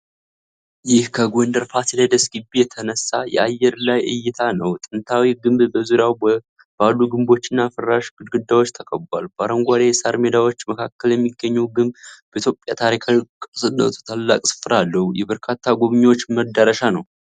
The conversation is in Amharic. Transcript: ይህ ከጎንደር ፋሲለደስ ግቢ የተነሳ የአየር ላይ እይታ ነው። ጥንታዊው ግንብ በዙሪያው ባሉ ግንቦችና ፍራሽ ግድግዳዎች ተከብቧል። በአረንጓዴ ሳር ሜዳዎች መካከል የሚገኘው ግንብ በኢትዮጵያ ታሪካዊ ቅርስነቱ ታላቅ ስፍራ አለው። የበርካታ ጎብኝዎች መዳረሻ ነው።